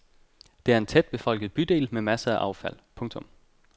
Det er en tæt befolket bydel med masser af affald. punktum